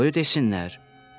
Qoy desinlər.